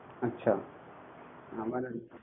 আচ্ছা আমার